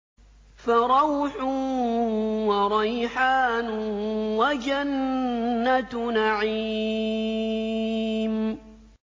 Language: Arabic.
فَرَوْحٌ وَرَيْحَانٌ وَجَنَّتُ نَعِيمٍ